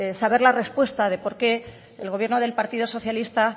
saber la respuesta de por qué el gobierno del partido socialista